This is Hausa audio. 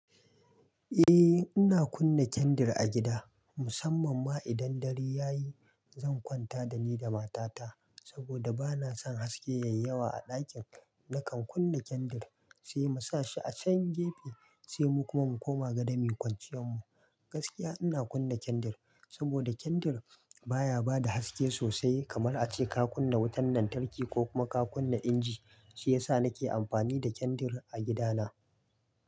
Eh, ina kunna kandir a gida. Musamman ma idan dare ya yi, zan kwanta da ni da matata saboda bana son haske ya yawa a ɗakin. Nakan kunna kandir sai mu sa shi a can gefe, sai mu kuma mu koma gado muyi kwanciyan mu. Gaskiya ina kunna kandir saboda kandir baya bada haske sosai kamar ace ka kunna wutan lantarki ko kuma ka kunna inji. Shi ya sa nake amfani da kandir a gidana.